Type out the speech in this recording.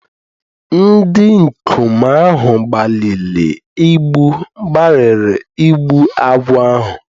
Ndị ikom ahụ gbalịrị igbu agwọ ahụ